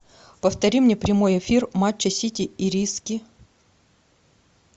повтори мне прямой эфир матча сити ириски